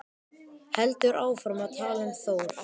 Heldur áfram að tala um Þór: